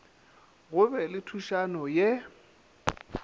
go be le thušano ye